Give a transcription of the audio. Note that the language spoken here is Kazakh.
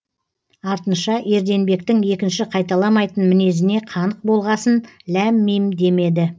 артынша ерденбектің екінші қайталамайтын мінезіне қанық болғасын ләм мим демеді